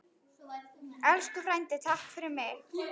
Elsku frændi, takk fyrir mig.